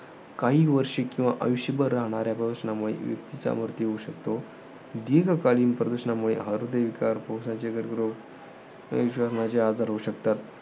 काही वार्षिक किंवा आयुष्यभर राहणाऱ्या प्रदूषणामुळे व्यक्तीचा मृत्यू होऊ शकतो. दीर्घकालीन प्रदूषणामुळे, हृदयविकार, श्वसनाचे कर्करोग या चे आजार होऊ शकतात.